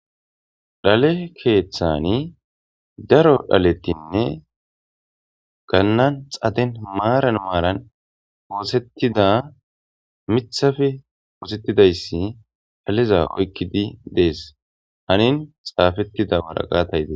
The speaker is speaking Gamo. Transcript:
Dhale keeththani daro dhalettinne gannan xaden maaran maaran woosettida mithafe woosettidayssi haliza oykkidi dees anin xaafettida waraqatay dee.